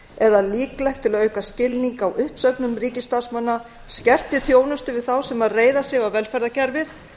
eða líklegt til að auka skilning á uppsögnum ríkisstarfsmanna skertri þjónustu við þá sem reiða sig á velferðarkerfið